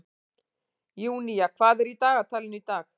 Júnía, hvað er í dagatalinu í dag?